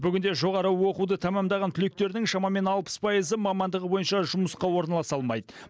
бүгінде жоғары оқуды тәмамдаған түлектердің шамамен алпыс пайызы мамандығы бойынша жұмысқа орналаса алмайды